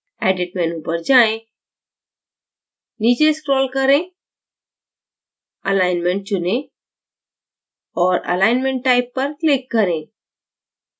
edit menu पर जाएँ नीचे scroll करें alignment चुनें और alignment type पर click करें